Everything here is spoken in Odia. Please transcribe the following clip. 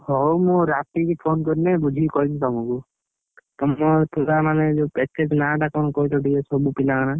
ହଉ ମୁଁ ରାତିକି phone କଲେ ବୁଝିକି କହିବି ତମକୁ, ତମର ପିଲାମାନେ ଯୋଉ package ନାଁ ଟା ମାନେ ତମର ସବୁ ପିଲାଙ୍କର।